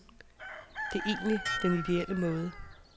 Det er egentlig den idéelle måde.